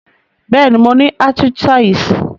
Béèni, mo ni arthritis